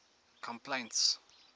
complaints